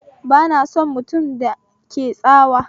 Ba na son mutum da ke mun tsawa